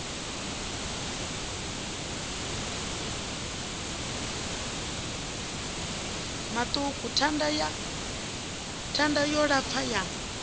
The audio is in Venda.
maṱuku thanda yo lapfa ya